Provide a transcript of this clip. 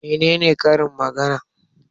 Menene karin magana?